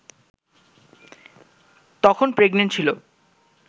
তখন প্রেগনেন্ট ছিলো